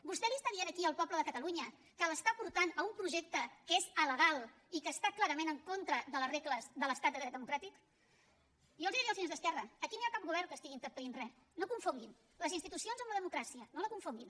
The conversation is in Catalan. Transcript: vostè li està dient aquí al poble de catalunya que l’està portant a un projecte que és alegal i que està clarament en contra de les regles de l’estat de dret democràtic jo els diria als senyors d’esquerra aquí no hi ha cap govern que estigui entorpint res no confonguin les institucions amb la democràcia no la confonguin